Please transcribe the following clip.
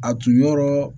A tun yɔrɔ